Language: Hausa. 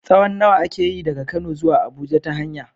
tsawon nawa ake yi daga Kano zuwa Abuja ta hanya?